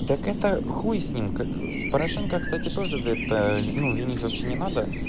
так это хуй с ним порошенко кстати тоже за это ну винить вообще не надо